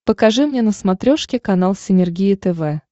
покажи мне на смотрешке канал синергия тв